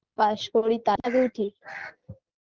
পাশ করি ঠি